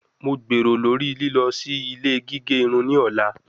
Mo gbero lori lilọ si ile gige irun ni ọla